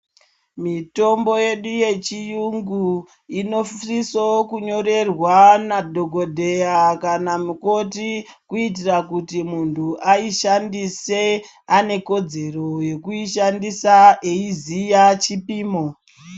Mitombo yedu yechiyungu inosisokunyorwa nadhokodheya kana mukoti kuitira kuti muntu aishandise ainekodzero yekuishandisa eiziya chipimo.